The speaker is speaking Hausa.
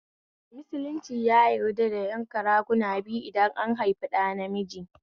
Musulunci ya yarda da yanka raguna biyu idan an haifi ɗa namiji